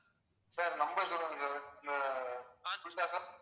sir number சொல்றேன் sir